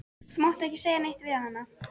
Þú mátt ekki segja neitt við hana.